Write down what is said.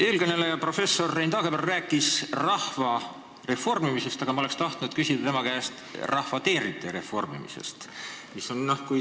Eelkõneleja professor Rein Taagepera rääkis rahva reformimisest, aga ma oleksin tahtnud küsida tema käest rahva teenrite reformimise kohta.